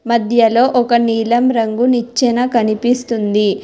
మధ్యలో ఒక నీలం రంగు నిచ్చెన కనిపిస్తుంది.